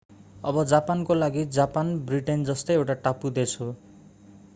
अब जापानको लागि जापान ब्रिटेन जस्तै एउटा टापु देश थियो